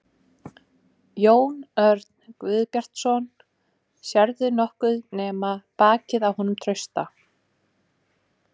Jón Örn Guðbjartsson: Sérðu nokkuð nema bakið á honum Trausta?